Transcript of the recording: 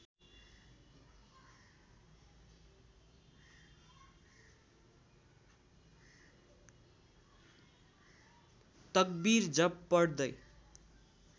तक्विर जप पढ्दै